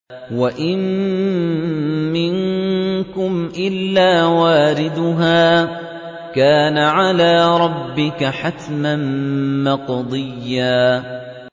وَإِن مِّنكُمْ إِلَّا وَارِدُهَا ۚ كَانَ عَلَىٰ رَبِّكَ حَتْمًا مَّقْضِيًّا